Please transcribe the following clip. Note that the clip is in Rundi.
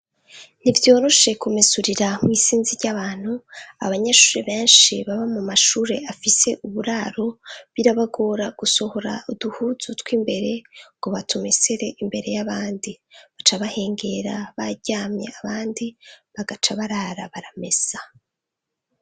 Ntivyoroshe kumesurira mw'isinzi ry'abantu, abanyeshure benshi baba mu mashure afise uburaro, birabagora gusohora uduhuzu tw'imbere ngo batumesere imbere y'abandi, baca bahengera baryamye abandi bagaca barara baramesa.